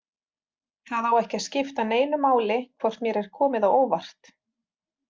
Það á ekki að skipta neinu máli hvort mér er komið á óvart.